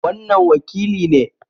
Wannan wakili ne